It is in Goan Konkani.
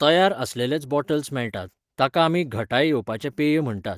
तयार आसलेलेच बॉटल्स मेळटात, ताका आमी घटाय येवपाचें पेय म्हणटात.